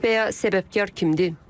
Və ya səbəbkar kimdir?